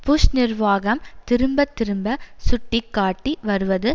push நிர்வாகம் திரும்ப திரும்ப சுட்டி காட்டி வருவது